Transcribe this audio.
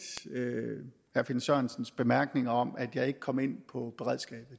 herre finn sørensens bemærkninger om at jeg ikke kom ind på beredskabet